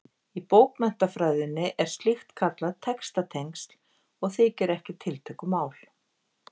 Í bókmenntafræðinni er slíkt kallað textatengsl og þykir ekki tiltökumál.